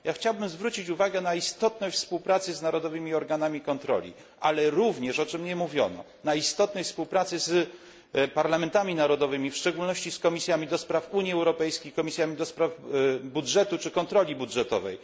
Ja chciałbym zwrócić uwagę na istotność współpracy z narodowymi organami kontroli, ale również, o czym nie mówiono, na istotność współpracy z parlamentami narodowymi, w szczególności z komisjami do spraw Unii Europejskiej, komisjami do spraw budżetu czy kontroli budżetowej.